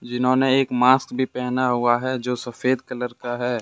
जिन्होंने एक मास्क भी पहना हुआ है जो सफेद कलर का है।